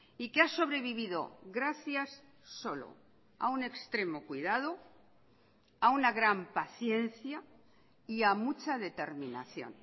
y que ha sobrevivido gracias solo a un extremo cuidado a una gran paciencia y a mucha determinación